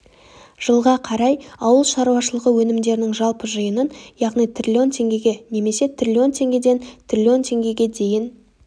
жылға қарай ауыл шаруашылығы өнімдерінің жалпы жиынын яғни триллион теңгеге немесе триллион теңгеден триллион теңгеге дейін